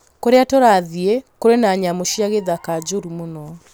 Kũrĩa tũrathiĩ kũrĩ na nyamũ cia gĩthaka njũru mũno